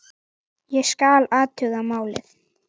Ég skal athuga málið